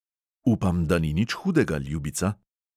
"Upam, da ni nič hudega, ljubica?"